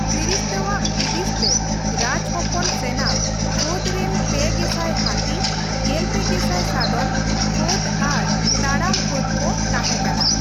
ᱯᱷᱤᱨᱤᱥᱛᱟᱣᱟᱜ ᱦᱩᱫᱤᱥ ᱛᱮ ᱨᱟᱡᱽ ᱦᱚᱯᱚᱱ ᱥᱮᱱᱟ ᱯᱷᱟᱹᱫ ᱨᱮᱱ ᱯᱮ ᱜᱮᱥᱟᱭ ᱦᱟᱹᱛᱤ, ᱜᱮᱞᱯᱮ ᱜᱮᱥᱟᱭ ᱥᱟᱫᱚᱢ ᱯᱷᱟᱹᱫ ᱟᱨ ᱛᱟᱲᱟᱢ ᱯᱷᱟᱹᱫ ᱠᱚ ᱛᱟᱦᱮᱸ ᱠᱟᱱᱟ ᱾